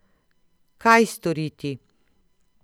Kaj storiti?